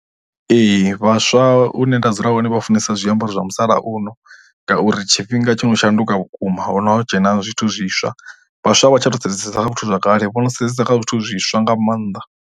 Ee, vhaswa hune nda dzula hone vha funesa zwiambaro zwa musalauno ngauri tshifhinga tsho no shanduka vhukuma ho no dzhena zwithu zwiswa vhaswa vha tsha to sedzesa kha vhathu zwa kale vho no sedzesa kha zwithu zwiswa nga maanḓa.